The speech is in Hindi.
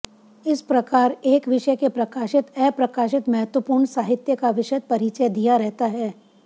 इस प्रकार एक विषय के प्रकाशित अप्रकाशित महत्वपूर्ण साहित्य का विशद परिचय दिया रहता है